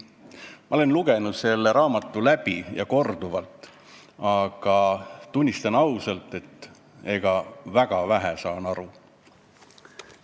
Ma olen selle raamatu korduvalt läbi lugenud, aga tunnistan ausalt, et väga vähe saan aru.